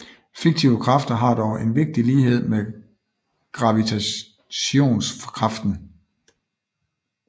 Fiktive kræfter har dog en vigtig lighed med gravitationskraften